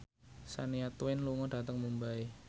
Shania Twain lunga dhateng Mumbai